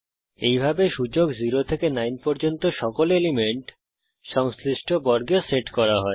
এইভাবে সূচক 0 থেকে 9 পর্যন্ত সকল এলিমেন্ট সংশ্লিষ্ট বর্গে সেট করা হয়